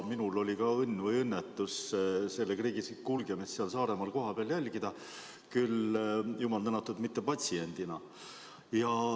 Minulgi oli õnn või õnnetus selle kriisi kulgemist Saaremaal kohapeal jälgida, küll, jumal tänatud, mitte patsiendina.